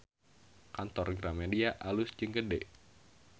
Kantor Gramedia alus jeung gede